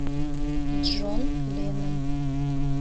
джон леннон